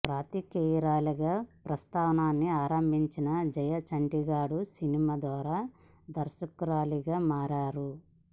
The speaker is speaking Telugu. పాత్రికేయురాలిగా ప్రస్థానాన్ని ఆరంభించిన జయ చంటిగాడు సినిమా ద్వారా దర్శకురాలిగా మారారు